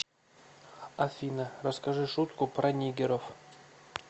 афина расскажи шутку про нигеров